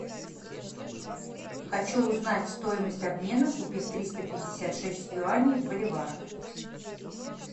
хочу узнать стоимость обмена купив триста пятьдесят шесть юаней в боливарах